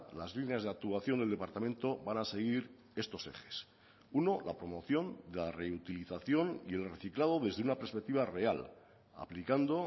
las líneas de actuación del departamento van a seguir estos ejes uno la promoción la reutilización y el reciclado desde una perspectiva real aplicando